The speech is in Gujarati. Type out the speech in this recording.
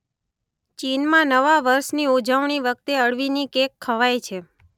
ચીનમાં નવા વર્ષની ઉજવણી વખતે અળવીની કેક ખવાય છે.